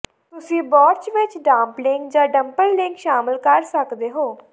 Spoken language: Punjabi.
ਤੁਸੀਂ ਬੋਰਚ ਵਿੱਚ ਡਾਂਪਲਿੰਗ ਜਾਂ ਡਮਪਲਲਿੰਗ ਸ਼ਾਮਲ ਕਰ ਸਕਦੇ ਹੋ